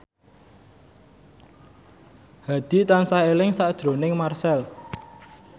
Hadi tansah eling sakjroning Marchell